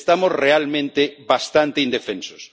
Estamos realmente bastante indefensos.